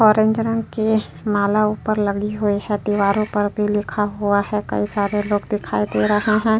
औरंजनन के नाला ऊपर लगी हुई है। दीवारों पर भी लिखा हुआ है। कई सारे लोग दिखाई दे रहे हैं।